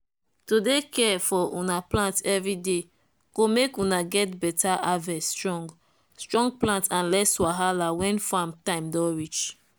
to dey care for una plant everyday go make una get beta harveststrong strong plant and less wahala when farm time don reach.